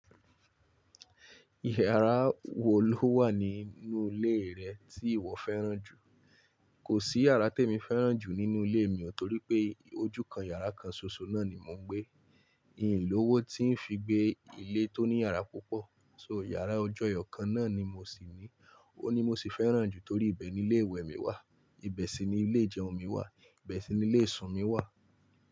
Ìyàrá wò ló wà nínú ilé rẹ tí ìwọ fẹ́ràn jù? Kò sí yàrá tí èmi fẹ́ràn jù nínú ilé mi, torí pé ojú kan yàrá kan ṣoṣo náà ni mò ń gbé. Hìn lówó tí ń fi gbé ilé tó ní yàrá púpọ̀. So yàrá ojú ẹyọ kan náà ni mo sì ní. Òhun ni mo sì fẹ́ràn jù torí ibẹ̀ ni ilé ìwẹ̀ mi wà, ibẹ̀ sì ni ilé ìjẹun mi wà, ibẹ̀ sì ni ilé ìsun mi wà.